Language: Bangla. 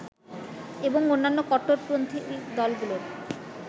এবং অন্যান্য কট্টরপন্থী দলগুলোর